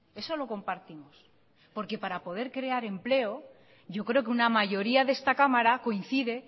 eso lo compartimos porque para poder crear empleo yo creo que una mayoría de esta cámara coincide